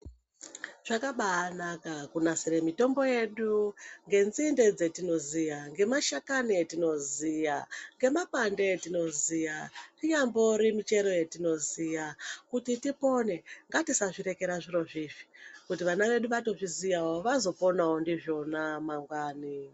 Zvakabaanaka kunasire mitombo yedu ngenzinde dzetinoziya, ngemashakani etinoziya, ngemapande etinoziya inyambori michero yetinoziya kuti tipone. Ngatisazvirekera zvirozvizvi kuti vana vedu vazviziye vazoponawo ndizvona mangwani.